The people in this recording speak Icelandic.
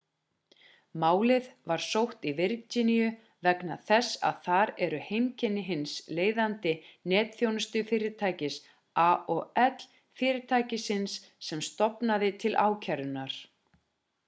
málið var sótt í virginíu vegna þess að þar eru heimkynni hins leiðandi netþjónustufyrirtækis aol fyrirtækisins sem stofnaði til ákærunnar